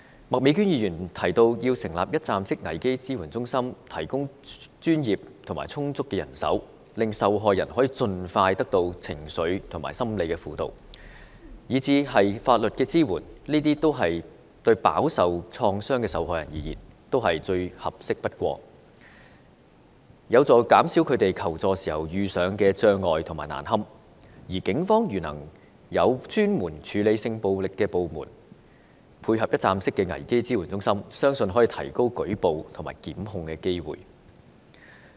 麥美娟議員提到要成立一站式危機支援中心，提供專業和充足的人手，令受害人可盡快得到情緒和心理輔導，甚至法律支援，這對飽受創傷的受害人而言，都是最合適不過，有助減少他們求助時遇上障礙和感到難堪，如果警方能夠有專門處理性暴力的部門配合一站式危機支援中心，我相信可以提高舉報和檢控的機會。